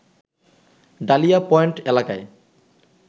dahlia point এলাকায়